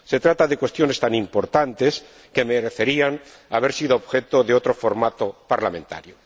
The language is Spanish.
Se trata de cuestiones tan importantes que merecerían haber sido objeto de otro formato parlamentario.